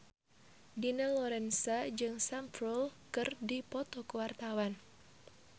Dina Lorenza jeung Sam Spruell keur dipoto ku wartawan